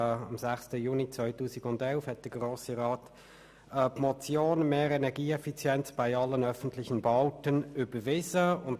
Am 6. Juni 2011 hat der Grosse Rat die Motion 106-2011 «Mehr Energieeffizienz bei allen öffentlichen Bauten» überwiesen.